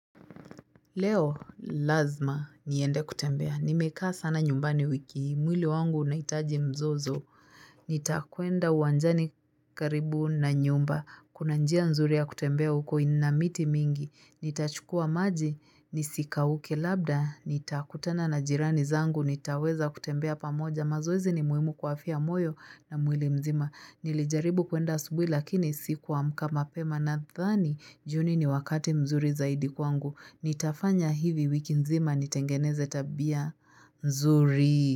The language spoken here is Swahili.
Leo lazima niende kutembea. Nimekaa sana nyumbani wiki hii. Mwili wangu unaitaji mzozo. Nitakwenda uwanjani karibu na nyumba. Kuna njia nzuri ya kutembea huko ina miti mingi. Nitachukua maji nisikauke labda. Nitakutana na jirani zangu. Nitaweza kutembea pamoja. Mazoezi ni muhimu kwa afya ya moyo na mwili mzima. Nilijaribu kuenda asubui lakini sikuamka mapema nadhani. Jioni ni wakati mzuri zaidi kwangu. Nitafanya hivi wiki nzima nitengeneze tabia nzuri.